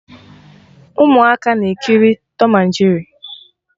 Ụmụaka ka na-ekiri Tọm na Jeri